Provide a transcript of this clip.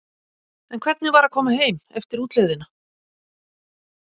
En hvernig var að koma heim eftir útlegðina?